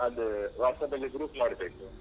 ಅದು, WhatsApp group ಮಾಡ್ಬೇಕು.